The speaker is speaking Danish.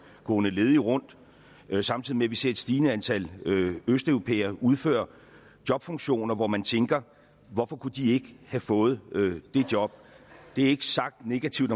gående ledige rundt samtidig med at vi ser et stigende antal østeuropæere udføre jobfunktioner hvor man tænker hvorfor kunne de ikke have fået de job det er ikke sagt negativt